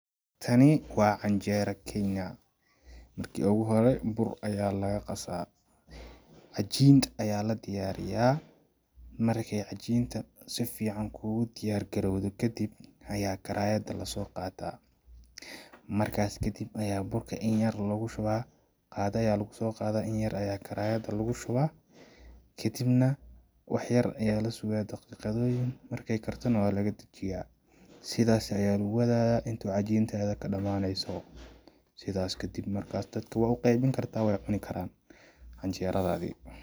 Tani waa canjeera kenya ,marki ogu hore bur ayaa la qasaa, cajiin ayaa la diyariyaa, markeey cajiinta si fiican kugu diyaar garoowdo kadib ayaa karaayada lasoo qataa ,markaas kadib ayaa burka inyar loogu shubaa ,qaada ayaa lagusoo qadaa inyar ayaa karaayada lagu shubaa ,kadibna waxyar ayaa la sugaa daqiiqadoyin markeey karto neh waa laga dajiyaa ,sidaasi ayaa lagu wadayaa intuu cajiintaadi kadhamaneyso ,sidaas kadib markaas dadka waa u qeybin kartaa ,weey cuni karaan canjeeradadii.